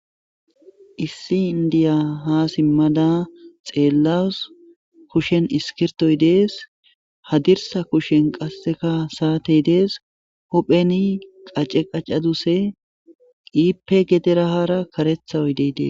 Issi indiya ha simmada xeellawus kushen iskirtoy dees hadirsa kushen qasseka saatey dees hupheni qace qaccaduse qiipe gederahara karetha oydey dees.